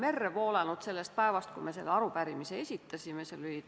Kõigepealt küsiti: "Kelle ülesandel rahandusministri nõunik tuuleparkide arendajate pressikonverentsil osales?